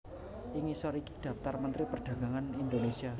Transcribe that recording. Ing ngisor iki dhaptar Mentri Perdagangan Indonésia